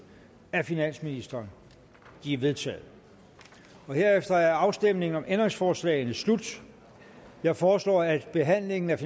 af finansministeren de er vedtaget herefter er afstemningen om ændringsforslagene slut jeg foreslår at behandlingen af